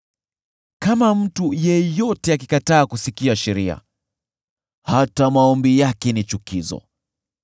Kama mtu yeyote akikataa kusikia sheria, hata maombi yake ni chukizo.